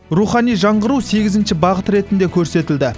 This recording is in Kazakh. рухани жаңғыру сегізінші бағыт ретінде көрсетілді